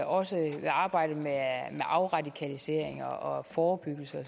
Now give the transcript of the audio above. også i arbejdet med afradikalisering og forebyggelse og